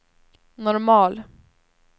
normal